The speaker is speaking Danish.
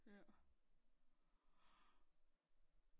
Ja